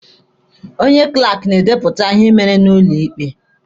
Onye klaaki na-edepụta ihe e mere n'ụlọ ikpe.